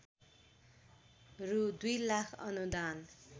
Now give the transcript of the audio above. रु दुई लाख अनुदान